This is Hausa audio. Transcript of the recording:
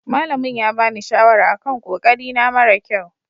Malamin ya bani shawara a kan ƙoƙari na mara ƙyau.